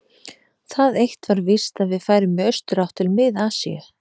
Það eitt var víst, að við færum í austurátt, til Mið-Asíu.